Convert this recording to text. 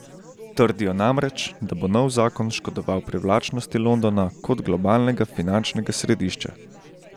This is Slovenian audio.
Trdijo namreč, da bo nov zakon škodoval privlačnosti Londona kot globalnega finančnega središča.